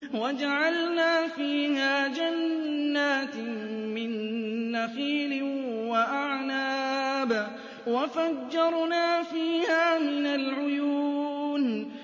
وَجَعَلْنَا فِيهَا جَنَّاتٍ مِّن نَّخِيلٍ وَأَعْنَابٍ وَفَجَّرْنَا فِيهَا مِنَ الْعُيُونِ